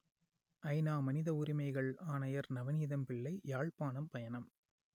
ஐநா மனித உரிமைகள் ஆணையர் நவநீதம் பிள்ளை யாழ்ப்பாணம் பயணம்